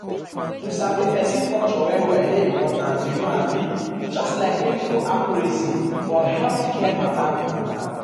um to sabi um person culture well well dey important you know abi just like clinical accuracy um for healthcare matter. matter.